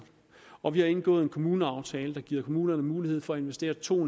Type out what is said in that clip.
og vi har indgået en kommuneaftale der giver kommunerne mulighed for at investere to